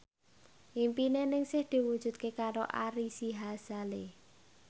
impine Ningsih diwujudke karo Ari Sihasale